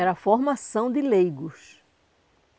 Era a formação de leigos.